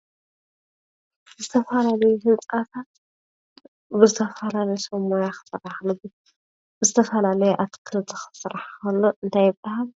ዝተፈላለዩ ህንፃታት ብዝተፈላዩ ሰብ ሞያታት ክስራሕ ከሎ ዝተፈላለየ ኣትክልቲ ክስራሕ እንተሎ እንታይ ይበሃል?